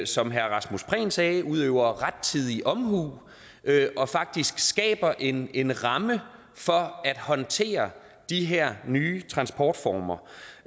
som herre rasmus prehn sagde udøver rettidig omhu og faktisk skaber en en ramme for at håndtere de her nye transportformer